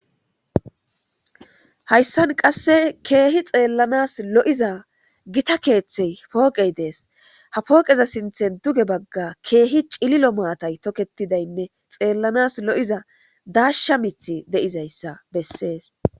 hayssan qasse keehi xeellanas lo7iza gita keeththey pooqey dees ha pooqeza sinthen duge bagga keehi cililo maatay toketidaynne xeellanas lo7iza daasha mith de7izayssa bessees